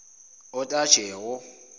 otajewo